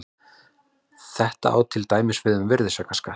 Þetta á til dæmis við um virðisaukaskatt.